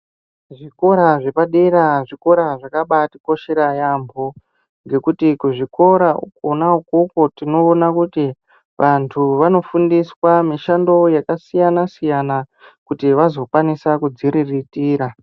Zvikora zvepadera zvikora zvakabaatikoshera yaambo. Ngekuti kuzvikora uko ukoko tinoona kuti vantu vanofundiswa mishando yakasiyana-siyana kuti vazokwanisa kudziriritira.